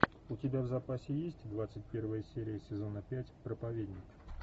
у тебя в запасе есть двадцать первая серия сезона пять проповедник